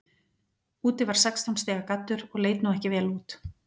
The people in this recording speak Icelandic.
Úti var sextán stiga gaddur og leit nú ekki vel út.